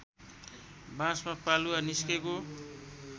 बाँसमा पालुवा निस्केको